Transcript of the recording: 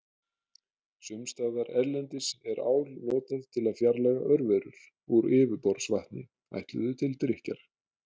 Sums staðar erlendis er ál notað til að fjarlægja örverur úr yfirborðsvatni ætluðu til drykkjar.